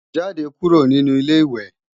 Jáde kúrò nínu Ilé-ìwẹ̀!